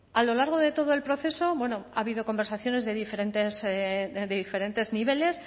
a lo largo de todo el proceso ha habido conversaciones de diferentes niveles